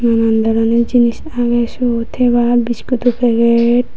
nanan doroner jinis agey siyot hebar biscudo paget.